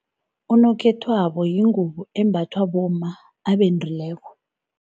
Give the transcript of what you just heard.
Unokhethwabo yingubo embathwa bomma abendileko.